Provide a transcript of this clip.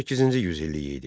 18-ci yüzilliyi idi.